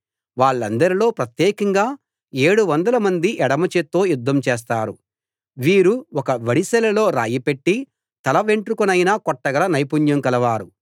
వాళ్ళందరిలో ప్రత్యేకంగా ఏడు వందలమంది ఎడమ చేత్తో యుద్ధం చేస్తారు వీరు ఒక ఒడిసెలలో రాయి పెట్టి తలవెంట్రుకనైనా కొట్టగల నైపుణ్యం గలవారు